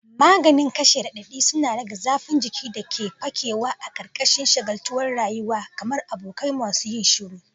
Maganin kashe radadi suna rage zafin jiki da ke fakewa a ƙarƙashin shagaltuwar rayuwa, kamar abokai masu yin shiru.